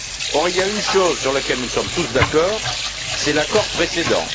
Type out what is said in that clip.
Or, il y a une chose sur laquelle nous sommes tous d'accord, c'est l'accord précédent.